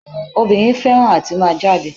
Obìnrin fẹ́ràn àti máa jáde